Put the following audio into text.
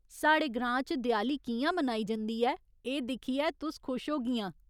साढ़े ग्रां च देआली कि'यां मनाई जंदी ऐ एह् दिक्खियै तुस खुश होगियां।